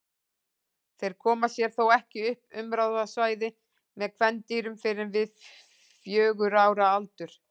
Þeir koma sér þó ekki upp umráðasvæði með kvendýrum fyrr en við fjögurra ára aldur.